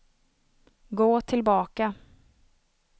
gå tillbaka